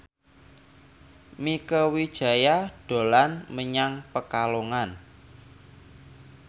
Mieke Wijaya dolan menyang Pekalongan